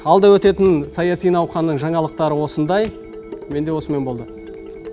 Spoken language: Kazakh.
алда өтетін саяси науханның жаңалықтары осындай менде осымен болды